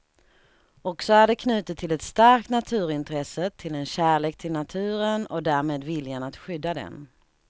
Och så är det knutet till ett starkt naturintresse, till en kärlek till naturen och därmed viljan att skydda den.